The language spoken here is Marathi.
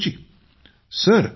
मंजूर जी जी सर